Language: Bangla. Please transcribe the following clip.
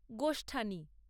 গোষ্ঠানি